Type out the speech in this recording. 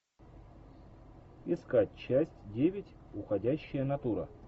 искать часть девять уходящая натура